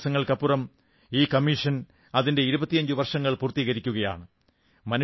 കുറച്ചു ദിവസങ്ങൾക്കപ്പുറം ഈ കമ്മീഷൻ അതിന്റെ 25 വർഷങ്ങൾ പൂർത്തീകരിക്കുകയാണ്